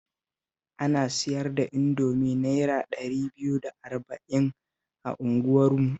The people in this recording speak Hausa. Ana siyar da Indomi Naira ɗari biyu da arba'in a unguwarmu